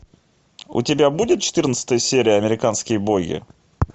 у тебя будет четырнадцатая серия американские боги